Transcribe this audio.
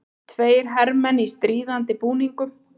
Tveir hermenn í stríðandi búningum.